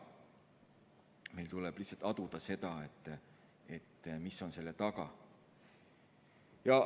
Meil tuleb lihtsalt aduda seda, mis on selle taga.